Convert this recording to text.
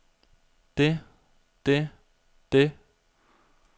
det det det